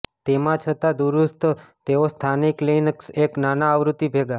તેમ છતાં દૂરસ્થ તેઓ સ્થાનિક લિનક્સ એક નાના આવૃત્તિ ભેગા